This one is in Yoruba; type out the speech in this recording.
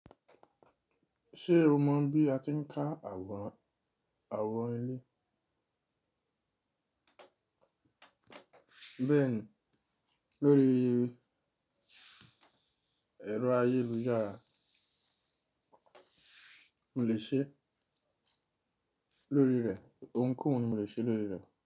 Ṣé o mọ bí a ti ń ká àwọn, àwọn ilé? Bẹ́ẹ̀ni, lórí ẹ̀rọ ayélujára, mo lè ṣe lórí rẹ̀, ohunkóhun mo lè ṣe lórí rẹ̀.